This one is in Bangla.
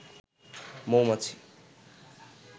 মৌমাছি